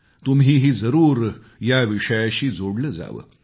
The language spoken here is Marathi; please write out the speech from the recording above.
तुम्हीही जरूर या विषयाशी जोडलं जावं